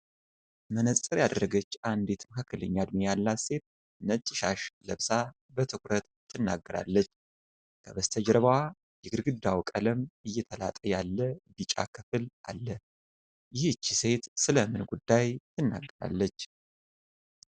መነፅር ያደረገች አንዲት መካከለኛ እድሜ ያላት ሴት፣ ነጭ ሻሽ ለብሳ በትኩረት ትናገራለች። ከበስተጀርባዋ የግድግዳው ቀለም እየተላጠ ያለ ቢጫ ክፍል አለ። ይህች ሴት ስለ ምን ጉዳይ ትናገራለች?